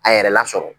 A yɛrɛ lasɔrɔ